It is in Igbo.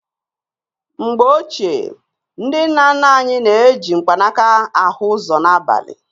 N ' MGBE OCHIE NDI NNA NNA ANYI NA- EJỊ MKPANAKA AHỤ ỤZỌ N' ABALI.